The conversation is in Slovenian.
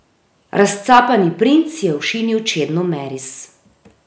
Razcapani princ je ošinil Čedno Meris.